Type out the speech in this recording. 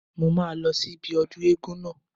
Mo máa lọ sí ibi ọdún eégún náà